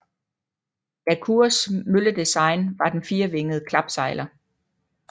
La Cours mølledesign var den firevingede klapsejler